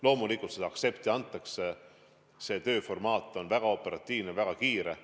Loomulikult, seda aktsepti antakse, see tööformaat on väga operatiivne, väga kiire.